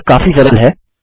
यह काफी सरल है